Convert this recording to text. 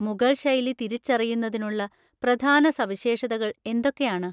മുഗൾ ശൈലി തിരിച്ചറിയുന്നതിനുള്ള പ്രധാന സവിശേഷതകൾ എന്തൊക്കെയാണ്?